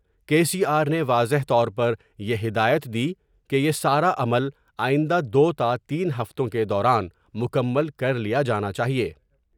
کے C R نے واضح طور پر یہ ہدایت دی کہ یہ ساراعمل آئندہ دوتا تین ہفتوں کے دوران مکمل کر لیا جانا چاہئے ۔